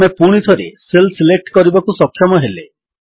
ଆମେ ପୁଣିଥରେ cell select କରିବାକୁ ସକ୍ଷମ ହେଲେ